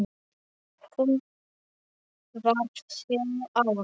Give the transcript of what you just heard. Hún varð sjö ára.